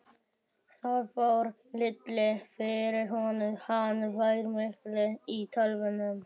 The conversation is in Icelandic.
Það fór lítið fyrir honum, hann var mikið í tölvum.